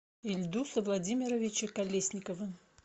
ильдуса владимировича колесникова